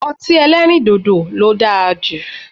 Ọti ẹlẹrindodo lo daa ju